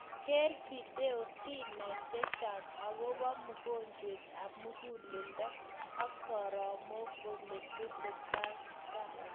Keer video si nai chechang agobaa mongojwent ab mugulledo ak soromaik oletesataito